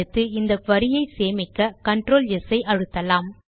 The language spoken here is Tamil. அடுத்து இந்த குரி ஐ சேமிக்க கன்ட்ரோல் ஸ் ஐ அழுத்தலாம்